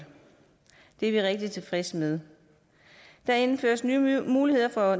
det er vi rigtig tilfredse med der indføres nye muligheder for